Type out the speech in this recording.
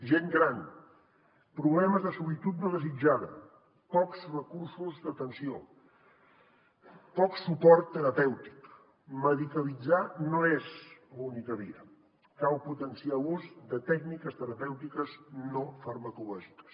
gent gran problemes de solitud no desitjada pocs recursos d’atenció poc suport terapèutic medicalitzar no és l’única via cal potenciar l’ús de tècniques terapèutiques no farmacològiques